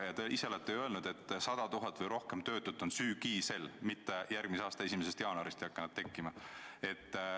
Ja te ise olete öelnud, et 100 000 või rohkem töötut on juba sügisel, mitte järgmise aasta 1. jaanuarist ei hakka nad tekkima.